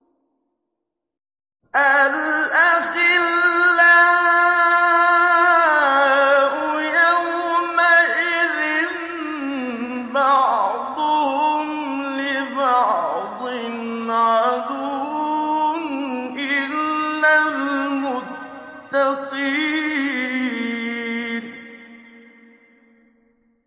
الْأَخِلَّاءُ يَوْمَئِذٍ بَعْضُهُمْ لِبَعْضٍ عَدُوٌّ إِلَّا الْمُتَّقِينَ